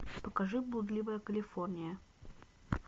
покажи блудливая калифорния